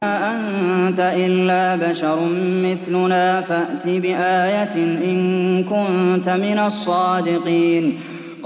مَا أَنتَ إِلَّا بَشَرٌ مِّثْلُنَا فَأْتِ بِآيَةٍ إِن كُنتَ مِنَ الصَّادِقِينَ